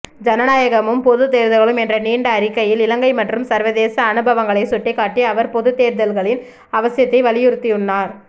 ஜனநாயகமும் பொதுத்தேர்தல்களும் என்ற நீண்ட அறிக்கையில் இலங்கை மற்றும் சர்வதேச அனுபவங்களை சுட்டிக்காட்டி அவர் பொதுத்தேர்தல்களின் அவசியத்தை வலியுறுத்தியுள்ளார்